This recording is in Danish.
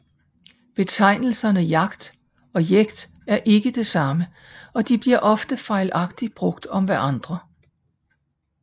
Betegnelserne jagt og jekt er ikke det samme og de bliver ofte fejlagtig brugt om hverandre